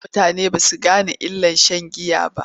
A da mutane ba su gane illar sha n giya ba.